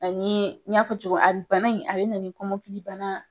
A ni n y'a fɔ cogo min a bi bana in a bina ni kɔmɔkilibana